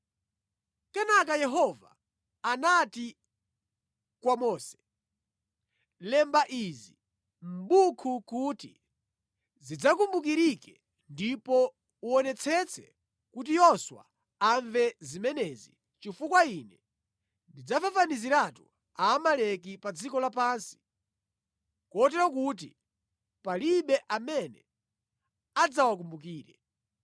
Kenaka Yehova anati kwa Mose, “Lemba izi mʼbuku kuti zidzakumbukirike ndipo uwonetsetse kuti Yoswa amve zimenezi, chifukwa Ine ndidzafafaniziratu Amaleki pa dziko lapansi, kotero kuti palibe amene adzawakumbukire.”